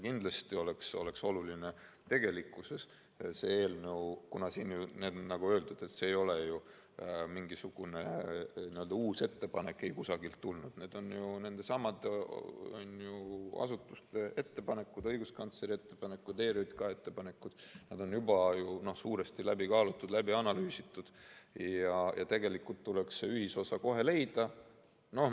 Kindlasti oleks oluline – siin on öeldud, et see ei ole ju mingisugune uus ettepanek, mis on eikusagilt tulnud, vaid need on ju nendesamade asutuste ettepanekud, õiguskantsleri ettepanekud, ERJK ettepanekud, mis on juba suuresti läbi kaalutud, läbi analüüsitud – see ühisosa kohe leida.